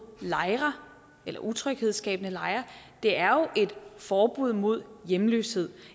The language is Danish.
lejre eller utryghedsskabende lejre det er jo et forbud mod hjemløshed